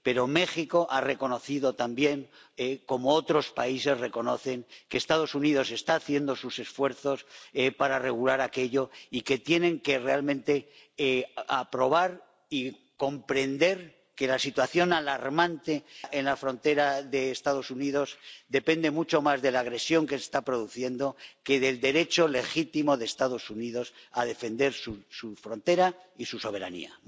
Pero México ha reconocido también, como otros países reconocen, que Estados Unidos está haciendo esfuerzos para regular aquello, y que realmente tienen que aprobar y comprender que la situación alarmante en la frontera de Estados Unidos depende mucho más de la agresión que se está produciendo que del derecho legítimo de Estados Unidos a defender su frontera y su soberanía.